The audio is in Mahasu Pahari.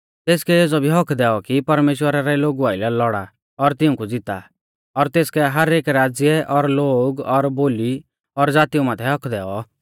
तेसकै एज़ौ भी हक्क दैऔ कि परमेश्‍वरा रै लोगु आइलै लौड़ा और तिऊंकु ज़िता और तेसकै हर एक राज़्य और लोग और बोली और ज़ातीऊ माथै हक्क दैऔ